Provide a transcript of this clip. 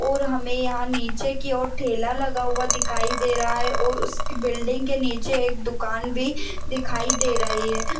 और हमें यहां नीचे की ओर ठेला लगा हुआ दिखाई दे रहा है और उसकी बिल्डिंग के नीचे एक दुकान भी दिखाई दे रही है।